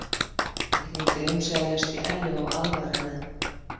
Ég hringdi umsvifalaust í Ellu og aðvaraði hana.